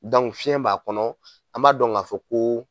fiyɛn b'a kɔnɔ an b'a dɔn k'a fɔ ko